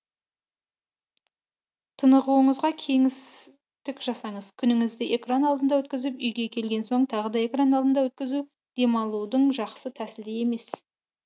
тынығуыңызға кеңістік жасаңыз күніңізді экран алдында өткізіп үйге келген соң тағы да экран алдында өткізу демалудың жақсы тәсілі емес